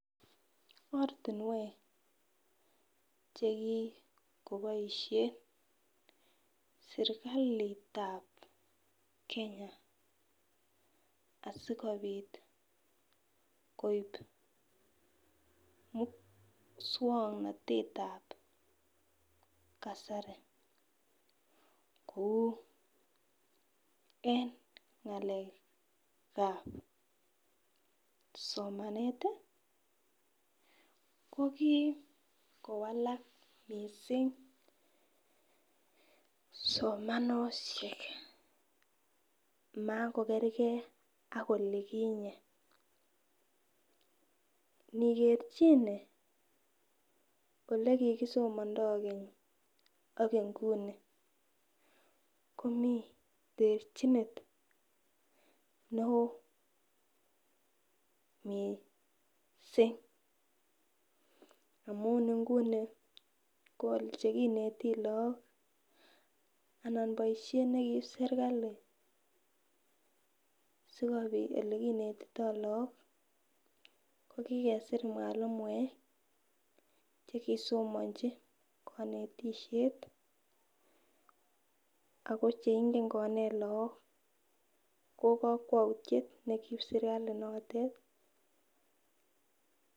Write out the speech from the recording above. Ortinwek chekikoboishen sirkalitab Kenya asikopit koib muswoknotetab kasari kou en ngalekab somanet tii ko kikowalak missing somanoshek makokergee ak oli kinye nikerchine ole kikisomondo Keny an inguni komii trechinet neo missing amun inguni chekineti lok anan boishet nekiib sirkalit sikopit olekinetito lok kokikesir mwalimuek vhekisomochi konetishet ako cheingen konet lok ko kokwoutyet nekiib sirkali notet.